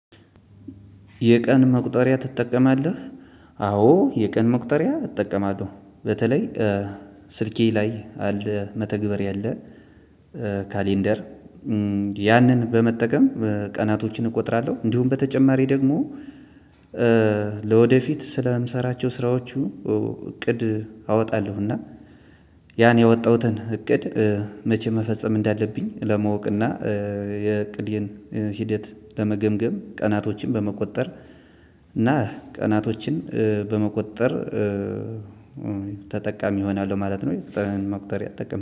የቀን መቁጠሪያ ትጠቀማለህ? አዎ የቀን መቁጠሪያ እጠቀማለሁ በተለይ ስልኬ ላይ አለ መተግበሪያ አለ። ካሌንደር ያንን በመጠቀም ቀናቶችን እቆጥራለሁ እንዲሁም በተጨማሪ ደግሞ። ለወደፊት ስለምሰራቸው ስራዎቹ እቅድ አወጣለሁ እና ያን የወጣሁትን እቅድ። መቼ መፈጸም እንዳለብኝ ለማወቅና የእቅዴን ሂደት ለመገምገም ቀናቶችን በመቁጠር እና ቀናቶችን በመቁጠር ተጠቃሚ እሆናለሁ ማለት ነው። መቁጠርያ ጠቀመው